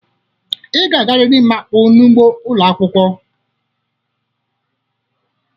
Ị ga-agarịrị ịma akpụ n'ugbo ụlọ akwụkwo.